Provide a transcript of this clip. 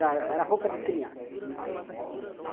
Era roupa de criança.